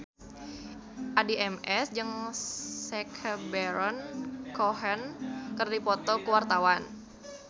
Addie MS jeung Sacha Baron Cohen keur dipoto ku wartawan